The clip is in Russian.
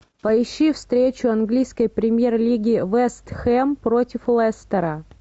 поищи встречу английской премьер лиги вест хэм против лестера